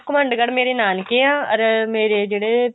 ਘਮੰਡਗੜ ਮੇਰੇ ਨਾਨਕੇ ਆ ਅਰ ਮੇਰੇ ਜਿਹੜੇ